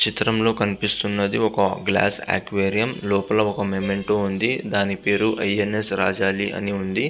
చిత్రంలో కనిపిస్తున్నది ఒక గ్లాస్ అక్వేరియం . లోపల ఒక మేమెంటు ఉంది . దాని పేరు ఐఎన్ఎస్ రాజధి అని ఉంది.